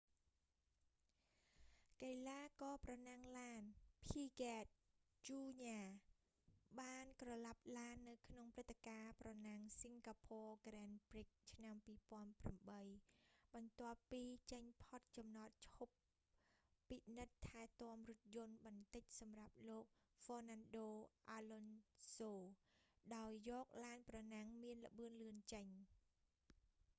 កីឡាករប្រណាំងឡាន ភីហ្គេត ជូរញា piquet jr បានក្រឡាប់ឡាននៅក្នុងព្រឹត្តិការណ៍ប្រណាំង singapore grand prix ឆ្នាំ 2008 បន្ទាប់ពីចេញផុតចំណតឈប់ពពិនិត្យថែទាំរថយន្តបន្តិចសម្រាប់លោក ហ្វ៊័រណាន់ដូ អាឡុនសូ fernando alonso ដោយយកឡានប្រណាំងមានល្បឿនលឿនចេញ